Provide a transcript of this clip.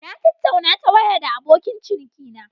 Na tattauna ta waya da abokin cinikina.